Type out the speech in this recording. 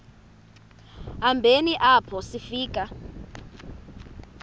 hambeni apho sifika